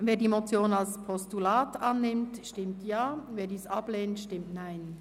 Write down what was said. Wer die Motion als Postulat annimmt, stimmt Ja, wer dies ablehnt, stimmt Nein.